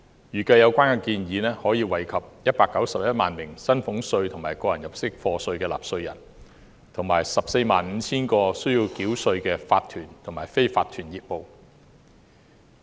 預計有關建議可惠及191萬名薪俸稅及個人入息課稅納稅人，以及 145,000 個須繳稅的法團及非法團業務。